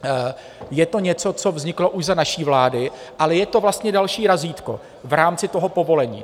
Je to něco, co vzniklo už za naší vlády, ale je to vlastně další razítko v rámci toho povolení.